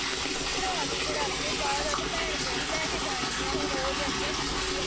ਭਰਾ ਤਾਂ ਮੇਰਾ ਅੱਗੇ ਬਾਹਰ ਆ ਤੇ ਭੈਣ ਕਿਹੜੀ ਲੈ ਕੇ ਜਾਣੀ ਆ ਹੁਣ, ਉਹ ਤਾਂ ਅੱਗੇ ਨਿੱਕੀ ਆ।